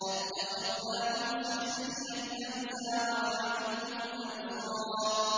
أَتَّخَذْنَاهُمْ سِخْرِيًّا أَمْ زَاغَتْ عَنْهُمُ الْأَبْصَارُ